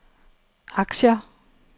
aktier